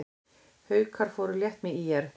Haukar fóru létt með ÍR